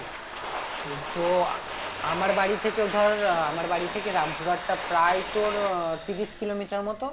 কিন্তু আমার বাড়ি থেকে ধর আহ আমার বাড়ি থেকে রামপুরহাটটা প্রায় তোর আহ তিরিশ কিলোমিটার মত